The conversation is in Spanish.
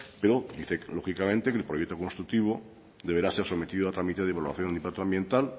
pero dice lógicamente que el proyecto constructivo deberá ser sometido a trámite de evaluación de impacto ambiental